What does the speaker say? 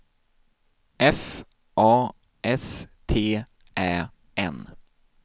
F A S T Ä N